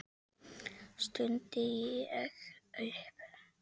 stundi ég upp.